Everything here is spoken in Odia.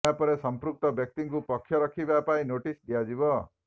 ଏହାପରେ ସୃପୃକ୍ତ ବ୍ୟକ୍ତିଙ୍କୁ ପକ୍ଷ ରଖିବା ପାଇଁ ନୋଟିସ ଦିଆଯିବ